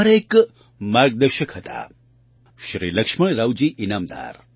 મારા એક માર્ગદર્શક હતા શ્રી લક્ષ્મણરાવજી ઈનામદાર